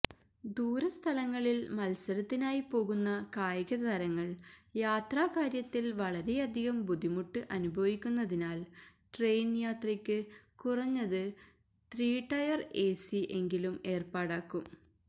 ദൂരസ്ഥലങ്ങളില് മത്സരത്തിനായി പോകുന്ന കായികതാരങ്ങള് യാത്രാക്കാര്യത്തില് വളരെയധികം ബുദ്ധിമുട്ട് അനുഭവിക്കുന്നതിനാല് ട്രയിന് യാത്രക്ക് കുറഞ്ഞത് ത്രീടയര് എസി എങ്കിലും ഏര്പ്പാടാക്കും